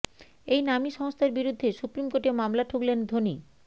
এই নামী সংস্থার বিরুদ্ধে সুপ্রিম কোর্টে মামলা ঠুকলেন ধোনি